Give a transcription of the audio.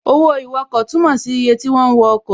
Owó ìwọkọ̀ túnmọ̀ sí iye ti wọ́n wọ ọkọ̀